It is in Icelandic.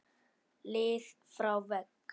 lið frá vegg?